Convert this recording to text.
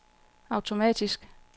automatisk